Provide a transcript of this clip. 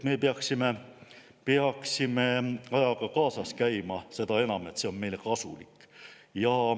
Me peaksime ajaga kaasas käima, seda enam, et see on meile kasulik.